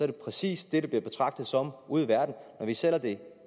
det præcis det der bliver betragtet som ude i verden vi sælger det